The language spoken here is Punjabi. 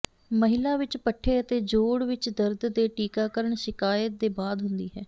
ਮਹਿਲਾ ਵਿੱਚ ਪੱਠੇ ਅਤੇ ਜੋਡ਼ ਵਿੱਚ ਦਰਦ ਦੇ ਟੀਕਾਕਰਣ ਸ਼ਿਕਾਇਤ ਦੇ ਬਾਅਦ ਹੁੰਦੀ ਹੈ